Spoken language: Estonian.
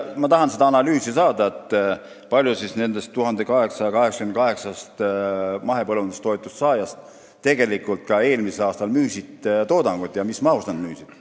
Ma tahan saada analüüsi, kui paljud nendest 1888-st mahepõllundustoetuse saajast eelmisel aastal tegelikult ka oma toodangut müüsid ja mis mahus nad seda müüsid.